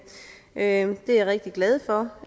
er jeg rigtig glad for